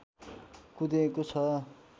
कुँदिएको छ